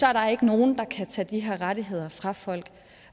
er der ikke nogen der kan tage de her rettigheder fra folk